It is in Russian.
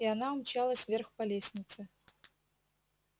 и она умчалась вверх по лестнице